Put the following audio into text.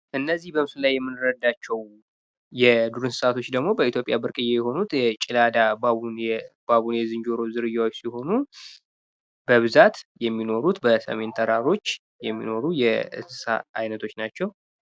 እነዚህ በምስሉ ላይ የምንረዳቸው የዱር እነሥሣቶች ደግሞ በኢትዮጵያ ብርቅየ የሆኑ የጭላዳ ባቡን የባቡኔ ዝንጀሮ ዝርያዎች ሲሆኑ በብዛት የሚኖሩት በሰሜን ተራሮች የሚኖሩ የእንስሣ እይነቶች ናቸው።